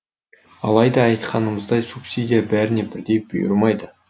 алайда айтқанымыздай субсидия бәріне бірдей бұйырмайды